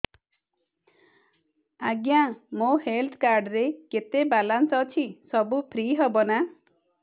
ଆଜ୍ଞା ମୋ health card ରେ କେତେ ବାଲାନ୍ସ ଅଛି ସବୁ ଫ୍ରି ହବ ନାଁ